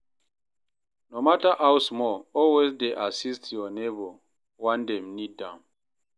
No mata how small, always dey assist yur neibor wen dem nid am.